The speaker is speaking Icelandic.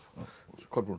Kolbrún